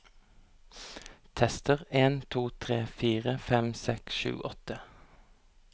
Tester en to tre fire fem seks sju åtte